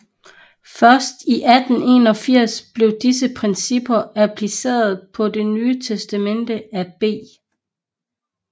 Først i 1881 blev disse principper appliceret på Det Nye Testamente af B